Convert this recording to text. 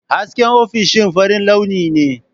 Hasken ofishin farin launi ne.